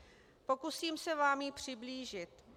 Pokusím se vám ji přiblížit.